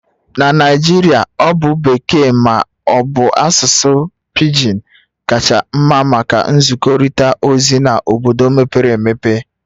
Na Naijiria Ọ bụ Bekee ma ọ bụ asụsụ pigin kacha mma maka nzikọrịta ozi na obodo mepere emepe